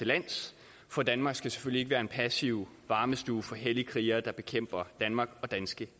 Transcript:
landet for danmark skal selvfølgelig ikke være en passiv varmestue for hellige krigere der bekæmper danmark og danske